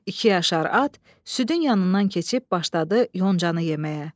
İki yaşar at südün yanından keçib başladı yoncanı yeməyə.